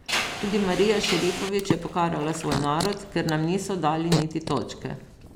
Tudi Marija Šerifović je pokarala svoj narod, ker nam niso dali niti točke.